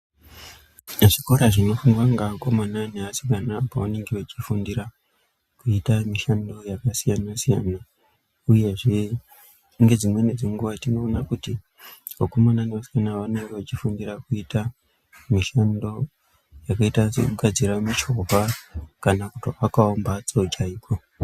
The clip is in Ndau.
Zvikora zvinofundwa ngeakomana neasikana apo vanenge vachifundira, kuita mishando yakasiyana-siyana, uyezve ngedzimweni dzenguwa, tinoona kuti vakomana nevasikana ava vanonga vachi kana kutoakawo mphatso chaiko.